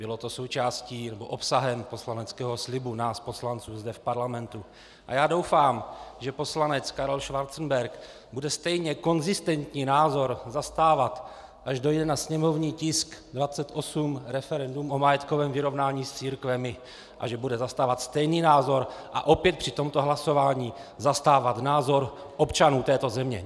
Bylo to součástí nebo obsahem poslaneckého slibu nás poslanců zde v parlamentu a já doufám, že poslanec Karel Schwarzenberg bude stejně konzistentní názor zastávat, až dojde na sněmovní tisk 28, referendum o majetkovém vyrovnání s církvemi, a že bude zastávat stejný názor a opět při tomto hlasování zastávat názor občanů této země.